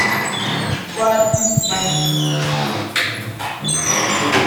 i go practice mindfulness and meditation to reduce stress today.